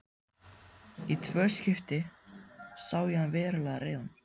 Í tvö skipti sá ég hann verulega reiðan.